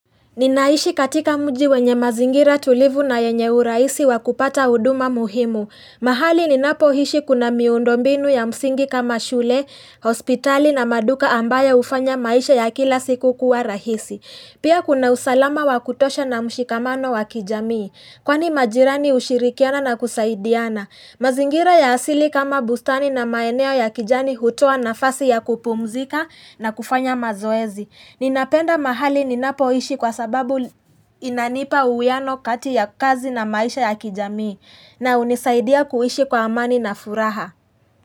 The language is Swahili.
Ninaishi katika mji wenye mazingira tulivu na yenye urahisi wakupata huduma muhimu. Mahali ninapoishi kuna miundombinu ya msingi kama shule, hospitali na maduka ambayo hufanya maisha ya kila siku kuwa rahisi. Pia kuna usalama wa kutosha na mshikamano wa kijamii. Kwani majirani hushirikiana na kusaidiana. Mazingira ya asili kama bustani na maeneo ya kijani hutoa nafasi ya kupumzika na kufanya mazoezi. Ninapenda mahali ninapoishi kwa sababu inanipa uhuwiano kati ya kazi na maisha ya kijamii na hunisaidia kuishi kwa amani na furaha.